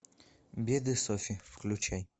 беды софи включай